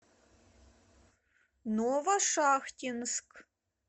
новошахтинск